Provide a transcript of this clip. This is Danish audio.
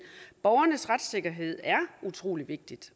borgernes retssikkerhed er utrolig vigtig